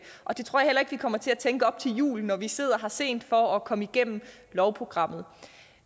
og det tror jeg heller ikke vi kommer til at tænke op til jul når vi sidder her sent for at komme igennem lovprogrammet